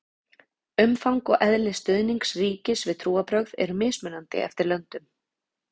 umfang og eðli stuðnings ríkis við trúarbrögð eru mismunandi eftir löndum